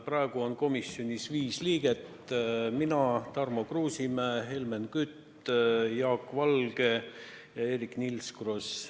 Praegu on komisjonis viis liiget: mina, Tarmo Kruusimäe, Helmen Kütt, Jaak Valge ja Eerik-Niiles Kross.